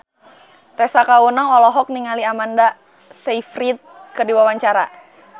Tessa Kaunang olohok ningali Amanda Sayfried keur diwawancara